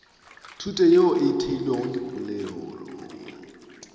thuto yeo e theilwego dipoelong